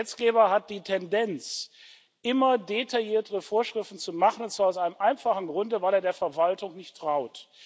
Der Gesetzgeber hat die Tendenz, immer detailliertere Vorschriften zu machen, und zwar aus einem einfachen Grunde Weil er der Verwaltung nicht traut.